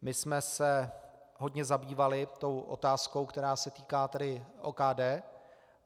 My jsme se hodně zabývali tou otázkou, která se týká tedy OKD.